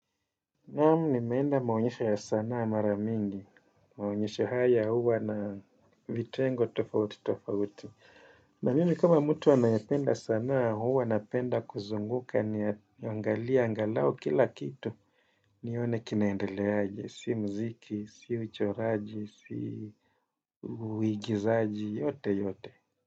Naam nimeenda maonyesho ya sanaa mara mingi, maonyesho haya huwa na vitengo tofauti tofauti. Na mimi kama mtu anayependa sanaa huwa napenda kuzunguka niangalie angalau kila kitu nione kinaendeleaje, si muziki, si uchoraji, si uigizaji, yoteyote.